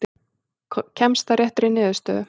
Kemst að réttri niðurstöðu.